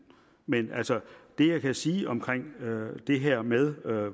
men altså det jeg kan sige om det her med